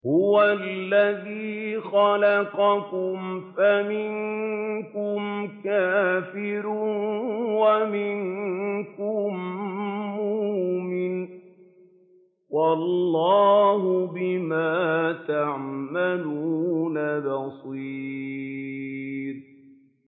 هُوَ الَّذِي خَلَقَكُمْ فَمِنكُمْ كَافِرٌ وَمِنكُم مُّؤْمِنٌ ۚ وَاللَّهُ بِمَا تَعْمَلُونَ بَصِيرٌ